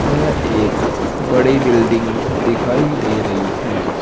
यह एक बड़ी बिल्डिंग दिखाई दे रही है।